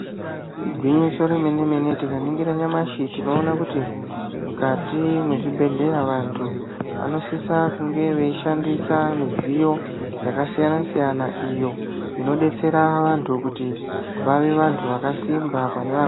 Igwinyiso remene mene tikaningira nyamashi tinoona kuti mwukati mwezvibhedhleya vantu vanosisa kunge veishandisa midzjyo yakasiyana siyana iyo inodetsera vantu kuti vave vantu vakasimba pane..